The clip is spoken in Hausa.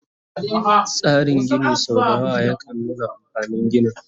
Tsarin Gini sau dayawa yakan nuna amfanin ginin